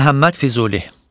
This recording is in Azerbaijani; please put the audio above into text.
Məhəmməd Füzuli.